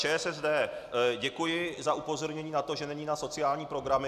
ČSSD, děkuji na upozornění na to, že není na sociální programy.